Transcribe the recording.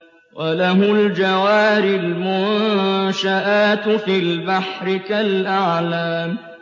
وَلَهُ الْجَوَارِ الْمُنشَآتُ فِي الْبَحْرِ كَالْأَعْلَامِ